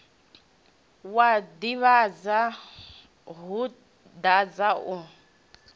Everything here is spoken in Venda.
wa tevhula wo dadza u